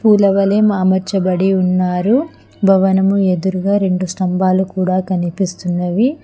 పూల వలే అమర్చబడి ఉన్నారు భవనము ఎదురుగ రెండు స్తంబాలు కూడ కనీపిస్తున్నవి.